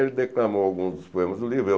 Ele declamou alguns dos poemas do livro. Eu